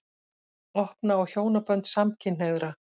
Opna á hjónabönd samkynhneigðra